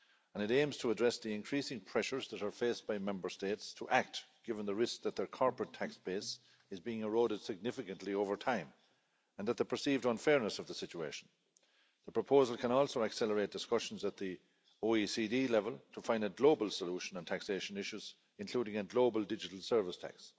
It aims to address the increasing pressures that are faced by Member States to act, given the risk that their corporate tax base is being eroded significantly over time and the perceived unfairness of the situation. The proposal can also accelerate discussions at the OECD level to find a global solution on taxation issues, including a global digital service tax.